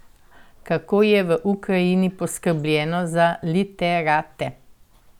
Kako je v Ukrajini poskrbljeno za literate?